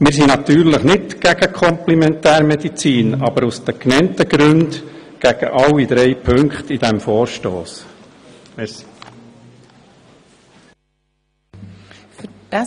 Wir sind natürlich nicht gegen die Komplementärmedizin, aber aus den genannten Gründen gegen alle drei Punkte dieses Vorstosses.